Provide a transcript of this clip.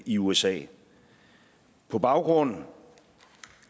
i usa på baggrund